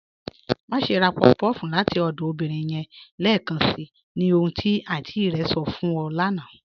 Máṣè rá puff-puff láti ọdọ obìnrin yẹn lẹẹkànṣí, ní ohun tí àntí rẹ̀ sọ̀ fún ù lána"